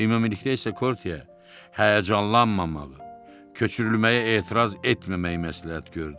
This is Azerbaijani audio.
Ümumilikdə isə Korteə həyəcanlanmamağı, köçürülməyə etiraz etməməyi məsləhət gördü.